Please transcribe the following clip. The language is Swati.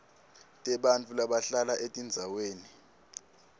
tebantfu labahlala etindzaweni